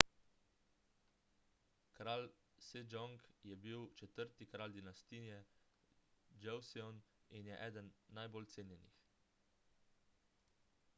kralj sejong je bil četrti kralj dinastije joseon in je eden najbolj cenjenih